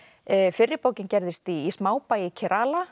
fyrri bókin gerðist í smábæ í